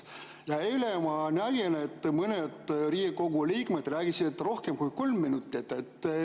Aga eile ma nägin, et mõned Riigikogu liikmed rääkisid rohkem kui kolm minutit.